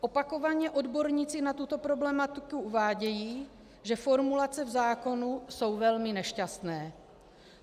Opakovaně odborníci na tuto problematiku uvádějí, že formulace v zákoně jsou velmi nešťastné.